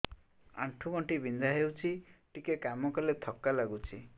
ଆଣ୍ଠୁ ଗଣ୍ଠି ବିନ୍ଧା ହେଉଛି ଟିକେ କାମ କଲେ ଥକ୍କା ଲାଗୁଚି